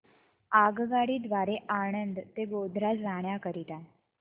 आगगाडी द्वारे आणंद ते गोध्रा जाण्या करीता